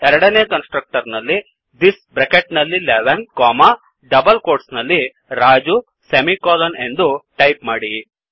ಎರಡನೇ constructor ನಲ್ಲಿ this bracket ನಲ್ಲಿ 11 ಕೊಮಾ ಡಬಲ್ ಕ್ವೋಟ್ಸ್ ನಲ್ಲಿ ರಾಜು ಸೆಮಿಕೋಲನ್ ಎಂದು ಟಾಯಿಪ್ ಮಾಡಿ